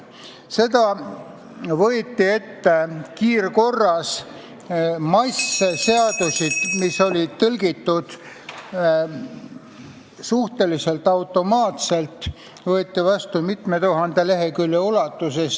See võeti ette kiirkorras, seadusi, mis olid tõlgitud suhteliselt automaatselt, võeti vastu mitme tuhande lehekülje ulatuses.